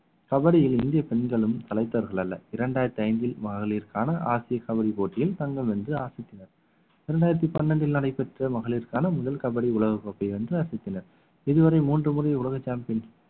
கபடியில் இந்திய பெண்களும் சளைத்தவர்கள் அல்ல இரண்டாயிரத்தி ஐந்தில் மகளிருக்கான கபடி போட்டியில் தங்கம் வென்று ஆசத்தினர் இரண்டாயிரத்தி பன்னிரண்டில் நடைபெற்ற மகளிருக்கான முதல் கபடி உலகக் கோப்பையை வென்று அசத்தினர் இதுவரை மூன்று முறை உலக champions